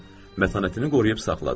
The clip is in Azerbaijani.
Mətanətini qoruyub saxladı.